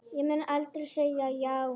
Ég mun aldrei segja já.